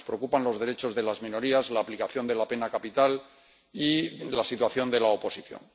Nos preocupan los derechos de las minorías, la aplicación de la pena capital y la situación de la oposición.